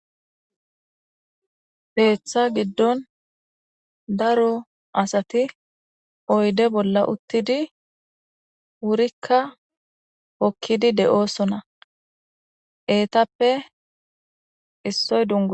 Beeththa giddon daro asati oyde bolla uttidi wurikka hokkidi de7oosona etappe issoy dun.